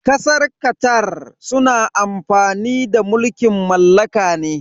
Kasar Qatar suna amfani da mulkin mallaka ne.